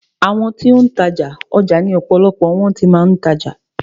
Àwọn ti ó ń tajà, ọjà ni ọ̀pọ̀lọpọ̀ wọn ti máa ń tajà.